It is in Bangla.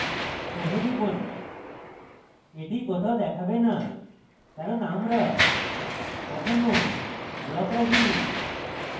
save টিপুন এটি কোথাও দেখাবে না কারণ আমরা এখনও block রাখিনি